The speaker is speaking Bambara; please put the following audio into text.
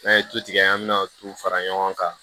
N'a ye tu tigɛ an mi na tu fara ɲɔgɔn kan